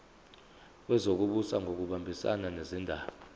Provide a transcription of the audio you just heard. wezokubusa ngokubambisana nezindaba